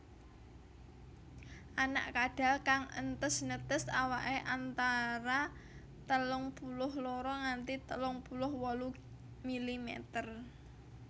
Anak kadal kang entes netes awake antara telung puluh loro nganti telung puluh wolu milimeter